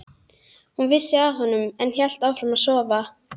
Hún vissi af honum en hélt áfram að sofa.